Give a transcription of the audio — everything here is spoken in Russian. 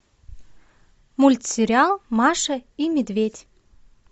мультсериал маша и медведь